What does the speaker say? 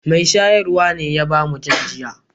Mai shayarwa ne ya ba mu jan giya.